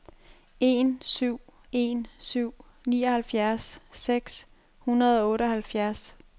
en syv en syv nioghalvfjerds seks hundrede og otteoghalvfjerds